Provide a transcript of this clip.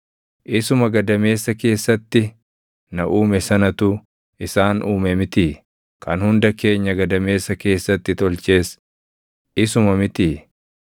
Isuma gadameessa keessatti na uume sanatu isaan uume mitii? Kan hunda keenya gadameessa keessatti tolches isuma mitii?